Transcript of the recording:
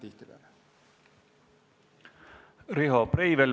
Riho Breivel, palun!